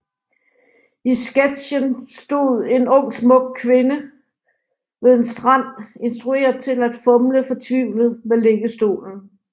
I sketchen stod en ung smuk pige ved en strand instrueret til at fumle fortvivlet med liggestolen